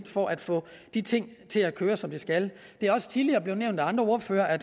for at få de ting til at køre som de skal det er også tidligere blevet nævnt af andre ordførere at